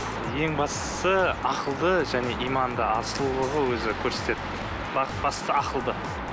ең бастысы ақылды және иманды ал сұлулығы өзі көрсетеді бастысы ақылды